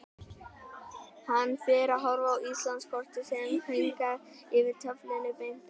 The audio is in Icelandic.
Hann fer að horfa á Íslandskortið sem hangir yfir töflunni beint á móti.